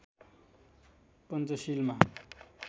पञ्चशीलमा